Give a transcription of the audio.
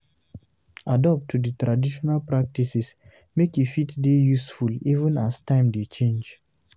Adapt to di trational practices make e fit dey useful even as time dey change